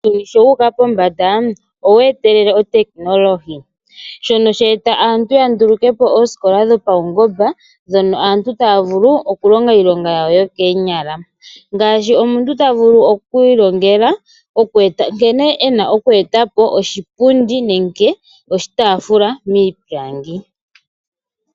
Uuyuni sho wuka pombanda ewe etelele oTechnology shono she etelela aantu ya ndulukepo ooskola dhopaungomba dhoka aantu taya vulu oku longa iilonga yawo yokonyala. Ngashi omuntu tavulu okwi ilongela nkene ena oku etapo oshipundi nenge oshitafula miipilangi.